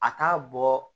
A t'a bɔ